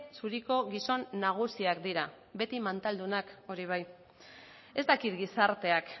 zuriko gizon nagusiak dira beti mantaldunak hori bai ez dakit gizarteak